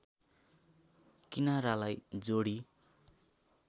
किनारालाई जोडी